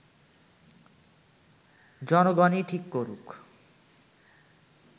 জনগণই ঠিক করুক